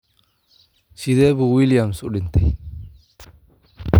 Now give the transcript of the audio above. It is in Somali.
Sidee buu Williams u dhintay?